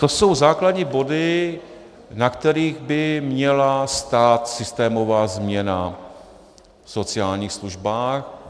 To jsou základní body, na kterých by měla stát systémová změna v sociálních službách.